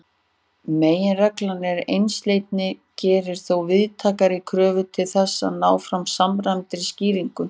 Meginreglan um einsleitni gerir þó víðtækari kröfur til þess að ná fram samræmdri skýringu.